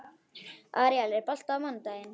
Aríel, er bolti á mánudaginn?